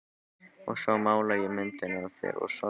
Og svo mála ég myndina af þér og sorginni.